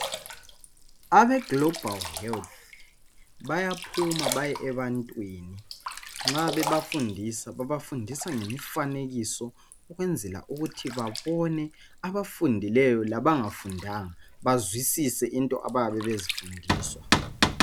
Abe Global health bayaphuma baye ebantwini nxa bebafundisa babafundisa ngemifanekiso ukwenzela ukuthi babone abafundileyo labangafundanga bazwisise into abayabe bezifundiswa